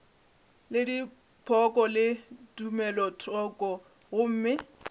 le dipoko le tumelothoko gomme